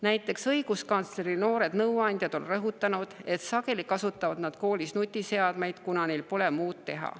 Näiteks on õiguskantsleri noored nõuandjad rõhutanud, et sageli kasutavad nad koolis nutiseadmeid, kuna neil pole muud teha.